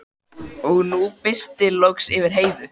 Og nú birti loks yfir Heiðu.